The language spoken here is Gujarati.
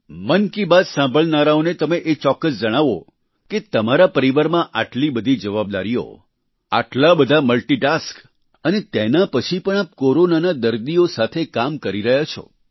મન કી બાત સાંભળનારાઓને તમે એ ચોક્કસ જણાવો કે તમારા પરિવારમાં આટલી બધી જવાબદારીઓ આટલા બધા મલ્ટિટાસ્ક અને તેના પછી પણ આપ કોરોનાના દર્દીઓ સાથે કામ કરી રહ્યા છો